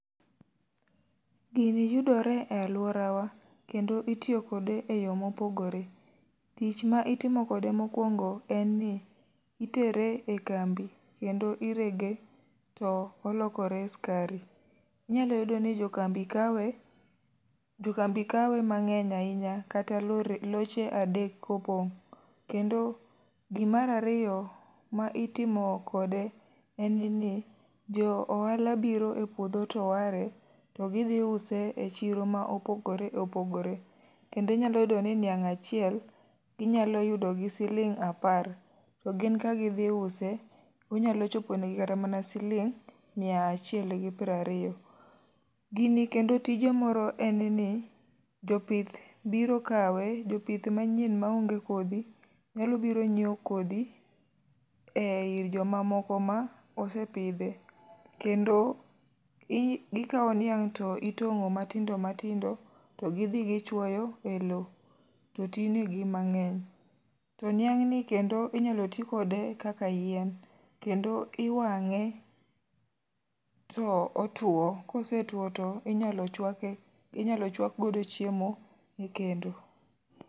Gini yudore e alworawa, kendo itiyo kode e yo mopogore. Tich ma itimo kode mokwongo en ni itere ekambi, kendo irege to olokore skari. Inyalo yudo ni jokambi kawe, jo kambi kawe mangény ahinya kata lori, loche adek ka opong'. Kendo gi mar ariyo ma itimo kode en ni, jo ohala biro e puodho to ware. To gi dhi use e chiro ma opogore opogore. Kendo inyalo yudo niang' achiel ginyalo yudo gi siling apar, to gin ka gidhi use, to onyalo choponegi kata mana siling mia achiel gi piero ariyo. Kini kendo tije moro en ni, jopith biro kawe, jopith manyien ma onge kodhi, nyalo biro nyiewo kodhi, ei joma moko ma osepidhe, kendo i gikawo niang' to itongó matindo matindo to gidhi gichwoyo e lowo, to ti negi mangény. Ti niang'ni kendo inyalo ti kode kaka yien. Kendo iwangé to otwo, kosetwo to inyalo chwake, inyalo chwak godo chiemo e kendo.